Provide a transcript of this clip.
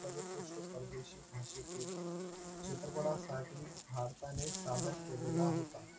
सर्वोत्क्रष्ट परदेशी भाषेतील चित्रपटासाठी भारताने ताब्यात केलेला होता.